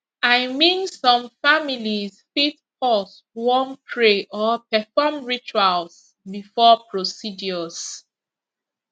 i mean some families fit pause wan pray or perform rituals before procedures